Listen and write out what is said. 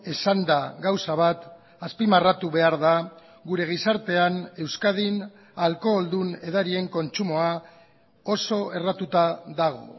esanda gauza bat azpimarratu behar da gure gizartean euskadin alkoholdun edarien kontsumoa oso erratuta dago